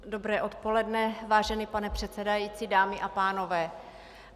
Dobré odpoledne, vážený pane předsedající, dámy a pánové.